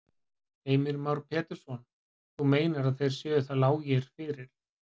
Heimir Már Pétursson: Þú meinar að þeir séu það lágir fyrir?